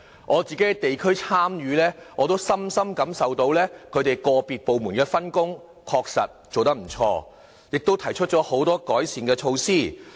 我參與地區事務時亦能深深感受到個別部門的分工確實做得不錯，亦提出很多改善措施。